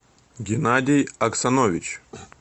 геннадий оксанович